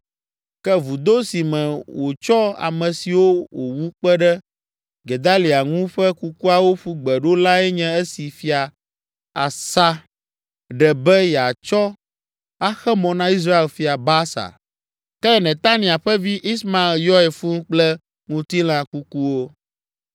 Ke vudo si me wòtsɔ ame siwo wòwu kpe ɖe Gedalia ŋu ƒe kukuawo ƒu gbe ɖo lae nye esi Fia Asa ɖe be yeatsɔ axe mɔ na Israel fia Baasa. Ke Netania ƒe vi, Ismael yɔe fũu kple ŋutilã kukuwo.